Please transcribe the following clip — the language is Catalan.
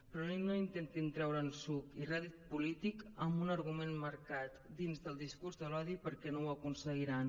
però no intentin treure’n suc i rèdit polític amb un argument emmarcat dins del discurs de l’odi perquè no ho aconseguiran